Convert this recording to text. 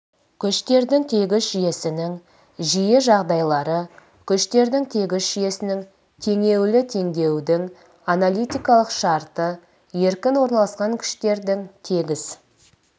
күштердің тегіс жүйесінің жиі жағдайлары күштердің тегіс жүйесінің теңелуі теңелудің аналитикалық шарты еркін орналасқан күштердің тегіс